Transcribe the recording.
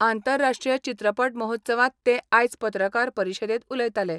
आंतरराष्ट्रीय चित्रपट महोत्सवात ते आयज पत्रकार परिशदेंत उलयतालें.